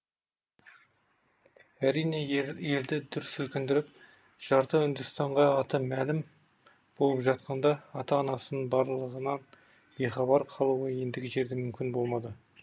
әрине елді дүр сілкіндіріп жарты үндістанға аты мәлім болып жатқанда ата анасын барлығынан бейхабар қалуы ендігі жерде мүмкін болмады